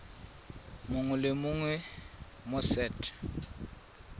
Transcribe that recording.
mongwe le mongwe mo set